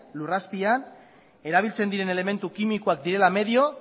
lur azpian erabiltzen diren elementu kimikoak direla medio